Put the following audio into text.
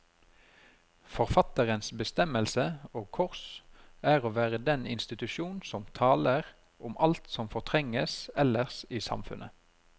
Forfatterens bestemmelse, og kors, er å være den institusjon som taler om alt som fortrenges ellers i samfunnet.